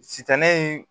Sitanɛ in